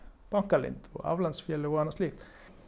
bankaleynd og aflandsfélög og annað slíkt